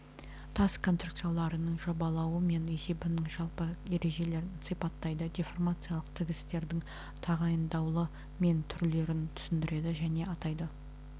тас конструкцияларының жобалауы мен есебінің жалпы ережелерін сипаттайды деформациялық тігістердің тағайындаулы мен түрлерін түсіндіреді және атайды